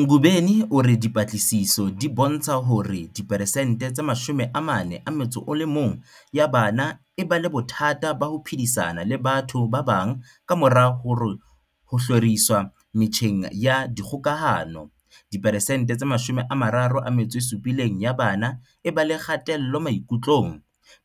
Ngobeni o re dipatlisiso di bontsha hore diphesente tse 41 ya bana e ba le bothata ba ho phedisana le batho ba bang kamora ho hloriswa metjheng ya dikgokahano, diperesente tse 37 ya bana e ba le kgatello maikutlong,